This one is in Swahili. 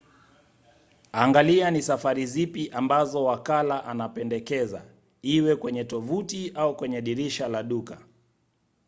angalia ni safari zipi ambazo wakala anapendekeza iwe kwenye tovuti au kwenye dirisha la duka